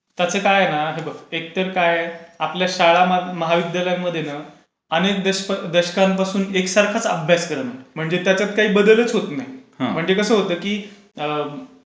त्याचं काय आहे ना, हे बघ एक तर काय आपल्या शाळा महाविद्यालयांमध्ये अनेक दशकांपासून एकसारखाच अभ्यासक्रम असतो. त्याच्यात काही बदलच होत नाही. म्हणजे कसं होतं की